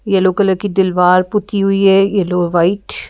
yellow colour की दीलवार पुति हुई है येलो व्हाइट --